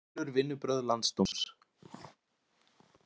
Átelur vinnubrögð landsdóms